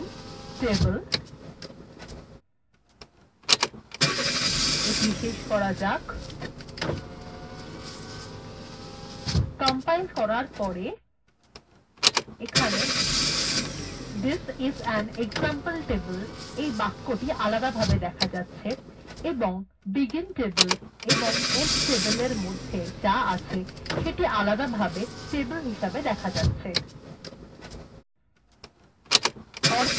begin table এটি শেষ করা যাক কম্পাইল করার পর এখন this is an example table এই বাক্যটি আলাদাভাবে দেখা যাচ্ছে এবং begin table এবং end tableএর মধ্যে যা আছে সেটি আলাদাভাবে টেবিল হিসাবে দেখা যাচ্ছে